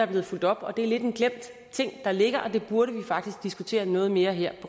blevet fulgt op og det er lidt en glemt ting der ligger det burde vi faktisk diskutere noget mere her